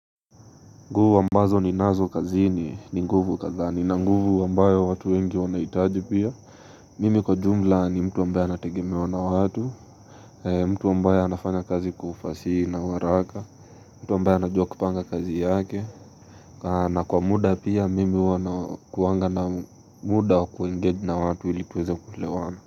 Nguvu ambazo ninazo kazini ni nguvu kadhaa nina nguvu ambayo watu wengi wanahitaji pia Mimi kwa jumla ni mtu ambaye anategemewa na watu mtu amaby anafanya kazi ufasihi na haraka mtu ambaye anajua kupanga kazi yake na kwa muda pia mimi huwa nakuanga na muda wa kuengage na watu ili tuweze kulewana.